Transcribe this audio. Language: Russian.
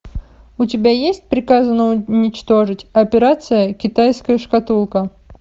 у тебя есть приказано уничтожить операция китайская шкатулка